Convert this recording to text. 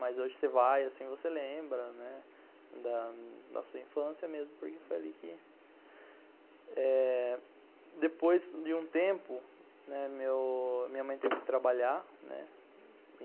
Mas hoje você vai, assim você lembra, né, da sua infância mesmo, porque foi ali que... eh, depois de um tempo, minha mãe teve que trabalhar, né.